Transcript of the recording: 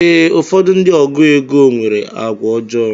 Ee, ụfọdụ ndị ọgụ égo nwere àgwà ọjọọ.